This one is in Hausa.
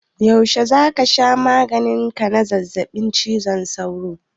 Yaushe za ka sha maganin ka na zazzabin cizon sauro?